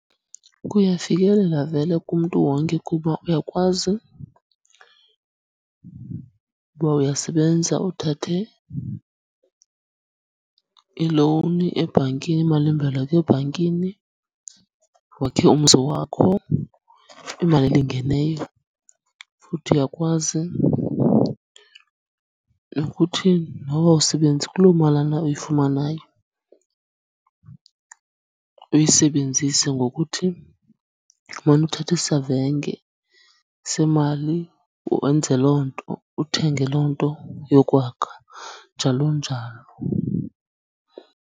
Kuyafikelela vele kumntu wonke kuba uyakwazi uba uyasebenza uthathe ilowuni ebhankini, imalimboleko ebhankini wakhe umzi wakho imali elingeneyo. Futhi uyakwazi nokuthi noba awusebenzi, kuloo malana uyifumanayo uyisebenzise ngokuthi umane uthatha isavenge semali wenze loo nto, uthenge loo nto yokwakha, njalo njalo.